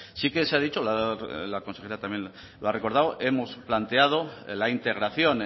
sí que se ha dicho la consejera también lo ha recordado hemos planteado la integración